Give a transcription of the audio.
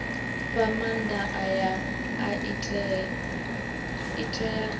fha maanda aya i tea